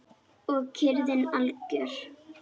Og kyrrðin algjör.